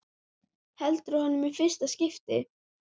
Heldur á honum í fyrsta skipti.